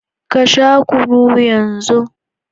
Ka Sha kunu d yan zu.